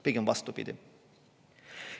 Pigem vastupidi.